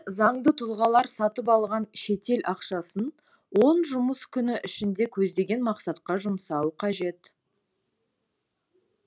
заңды тұлғалар сатып алған шетел ақшасын он жұмыс күні ішінде көздеген мақсатқа жұмсауы қажет